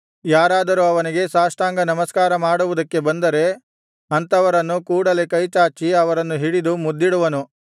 ಯಾರಾದರೂ ಅವನಿಗೆ ಸಾಷ್ಟಾಂಗ ನಮಸ್ಕಾರ ಮಾಡುವುದಕ್ಕೆ ಬಂದರೆ ಅಂಥವರನ್ನು ಕೂಡಲೆ ಕೈಚಾಚಿ ಅವರನ್ನು ಹಿಡಿದು ಮುದ್ದಿಡುವನು